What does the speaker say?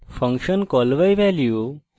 function call by value